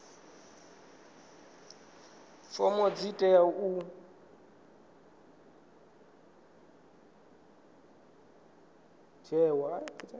fomo dzi teaho u ḓadzwa